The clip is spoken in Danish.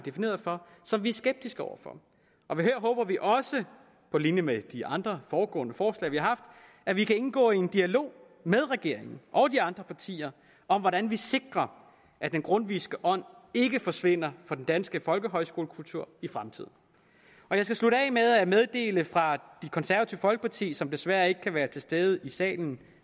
som vi er skeptiske over for her håber vi også på linje med de andre foregående forslag vi har haft at vi kan indgå i en dialog med regeringen og de andre partier om hvordan man sikrer at den grundtvigske ånd ikke forsvinder fra den danske folkehøjskolekultur i fremtiden jeg skal slutte af med at meddele fra det konservative folkeparti som desværre ikke kan være til stede i salen